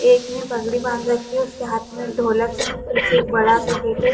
एक ने पगड़ी बांध रखी है उस के हाथ में बड़ा सा ढोलक है। पीछे एक बड़ा सा गेट है।